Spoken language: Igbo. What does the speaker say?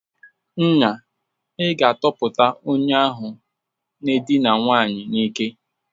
Nya, ị ga-atọhapụ onye ahụ n'edina nwanyị n'ike!